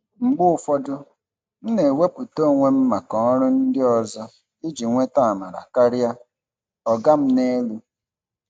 Mgbe ụfọdụ, m na-ewepụta onwe m maka ọrụ ndị ọzọ iji nweta amara karịa "ọga m n'elu."